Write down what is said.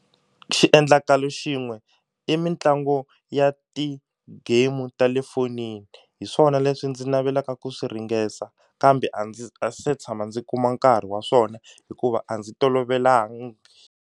Xiendlakalo xin'we i mitlangu ya ti-game ta le fonini hi swona leswi ndzi navelaka ku swi ringesa kambe a ndzi a se tshama ndzi kuma nkarhi wa swona hikuva a ndzi tolovelangi.